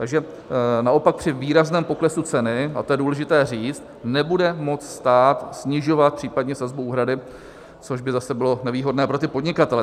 Takže naopak při výrazném poklesu ceny, a to je důležité říct, nebude moct stát snižovat případně sazbu úhrady, což by zase bylo nevýhodné pro ty podnikatele.